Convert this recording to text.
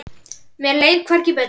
Mér leið hvergi betur.